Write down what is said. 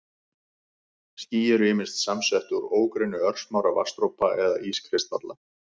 Ský eru ýmist samsett úr ógrynni örsmárra vatnsdropa eða ískristalla.